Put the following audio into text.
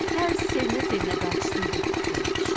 Dərzi sevinə-sevinə qayçısını götürüb yola düşdü.